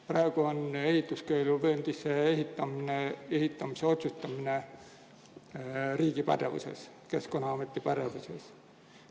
Praegu on ehituskeeluvööndisse ehitamise otsustamine riigi pädevuses, Keskkonnaameti pädevuses.